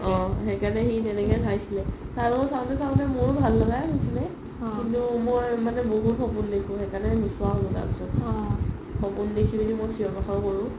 অ সেইকাৰণে সি সেনেকে চাইছিলে আৰু চাওতে চাওতে মোৰ ভাল লাগাই হৈছিলে কিন্তু মই মানে বহুত সপোন দেখো সেইকাৰণে নোচোৱা হ'লো তাৰ পিছত সপোন দেখি দেখি মই চিঞৰ-বাখৰ কৰো